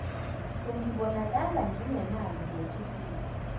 sengibonakala nginemali ngethukile